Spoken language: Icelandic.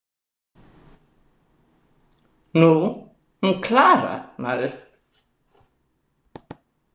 Nú, hún Klara, maður!